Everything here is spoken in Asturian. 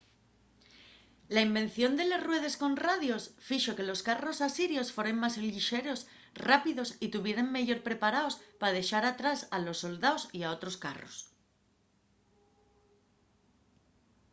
la invención de les ruedes con radios fixo que los carros asirios foren más llixeros rápidos y tuvieren meyor preparaos pa dexar atrás a los soldaos y a otros carros